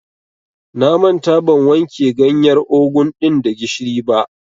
Na manta ban wanke ganyar ogun ɗin da gishiri ba.